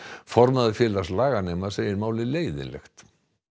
formaður félags laganema segir málið leiðinlegt